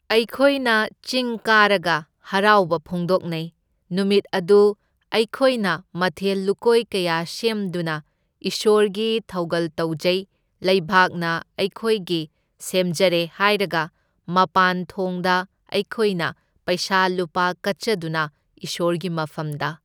ꯑꯩꯈꯣꯏꯅ ꯆꯤꯡ ꯀꯥꯔꯒ ꯍꯔꯥꯎꯕ ꯐꯣꯡꯗꯣꯛꯅꯩ, ꯅꯨꯃꯤꯠ ꯑꯗꯨ ꯑꯩꯈꯣꯏꯅ ꯃꯊꯦꯜ ꯂꯨꯀꯣꯏ ꯀꯌꯥ ꯁꯦꯝꯗꯨꯅ ꯏꯁꯣꯔꯒꯤ ꯊꯧꯒꯜ ꯇꯧꯖꯩ, ꯂꯩꯕꯥꯛꯅ ꯑꯩꯈꯣꯏꯒꯤ ꯁꯦꯝꯖꯔꯦ ꯍꯥꯏꯔꯒ ꯃꯄꯥꯟ ꯊꯣꯡꯗ ꯑꯩꯈꯣꯏꯅ ꯄꯩꯁꯥ ꯂꯨꯄꯥ ꯀꯠꯆꯗꯨꯅ ꯏꯁꯣꯔꯒꯤ ꯃꯐꯝꯗ꯫